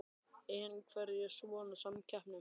En af hverju svona samkeppni?